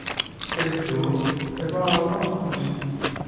ẹ jọ̀ọ́ ẹ bá wa wá nǹkan ṣe sí i